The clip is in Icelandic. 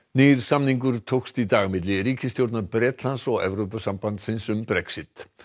nýr samningur tókst í dag milli ríkisstjórnar Bretlands og Evrópusambandsins um Brexit